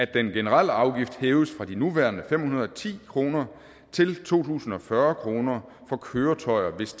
den generelle afgift hæves fra de nuværende fem hundrede og ti kroner til to tusind og fyrre kroner for køretøjer hvis